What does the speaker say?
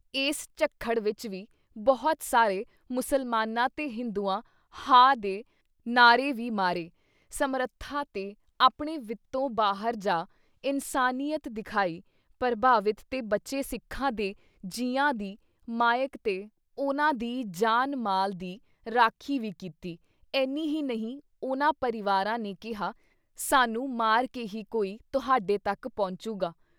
ਇਸ ਝੱਖੜ ਵਿੱਚ ਵੀ ਬਹੁਤ ਸਾਰੇ ਮੁਸਲਮਾਨਾਂ ਤੇ ਹਿੰਦੂਆਂ “ਹਾਅ” ਦੇ ਨਾਅਰੇ ਵੀ ਮਾਰੇ ਸਮਰੱਥਾ ਤੇ ਆਪਣੇ ਵਿਤੋਂ ਬਾਹਰ ਜਾ ਇਨਸਾਨੀਅਤ ਦਿਖਾਈ ਪ੍ਰਭਾਵਿਤ ਤੇ ਬਚੇ ਸਿੱਖਾਂ ਦੇ ਜੀਆਂ ਦੀ ਮਾਈਕ ਤੇ ਉਹਨਾਂ ਦੀ ਜਾਨ ਮਾਲ ਦੀ ਰਾਖੀ ਵੀ ਕੀਤੀ ਏਨ੍ਹੀ ਹੀ ਨਹੀਂ ਉਹਨਾਂ ਪਰਿਵਾਰਾਂ ਨੇ ਕਿਹਾ “ਸਾਨੂੰ ਮਾਰ ਕੇ ਹੀ ਕੋਈ ਤੁਹਾਡੇ ਤੱਕ ਪਹੁੰਚੁਗਾ”